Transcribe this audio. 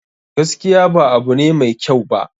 Gaskiya ba abu ne mai kyau ba